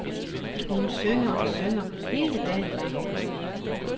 Hun synger og synger hele dagen lang.